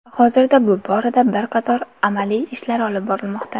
Hozirda bu borada bir qator amaliy ishlar olib borilmoqda.